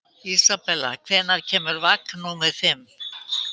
Isabella, hvenær kemur vagn númer fimm?